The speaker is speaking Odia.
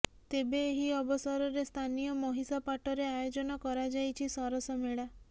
ତେବେ ଏହି ଅବସରରେ ସ୍ଥାନୀୟ ମହିଷାପାଟରେ ଆୟୋଜନ କରାଯାଇଛି ସରସ ମେଳା